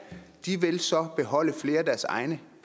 de vil så beholde flere af deres egne